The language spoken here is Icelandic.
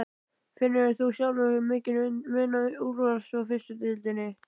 Finnur þú sjálfur mikinn mun á úrvals og fyrstu deildinni?